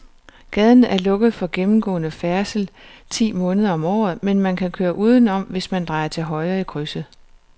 Gaden er lukket for gennemgående færdsel ti måneder om året, men man kan køre udenom, hvis man drejer til højre i krydset.